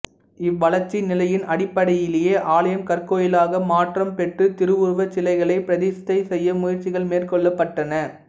இவ்வளர்ச்சி நிலையின் அடிப்படையிலேயே ஆலயம் கற்கோயிலாக மாற்றம் பெற்று திருவுருவச் சிலைகளைப் பிரதிஷ்டை செய்ய முயற்சிகள் மேற்கொள்ளப்பட்டன